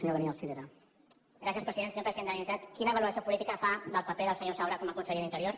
senyor president de la generalitat quina valoració política fa del paper del senyor saura com a conseller d’interior